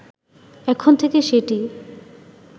এখন থেকে সেটি